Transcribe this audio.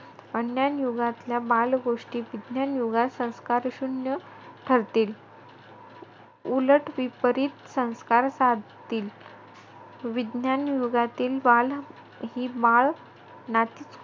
अज्ञान युगातल्या बाल गोष्टी विज्ञान युगात संस्कारशून्य ठरतील. उलट विपरीत संस्कार साधतील. विज्ञान युगातील बाल ही बाळ नाती,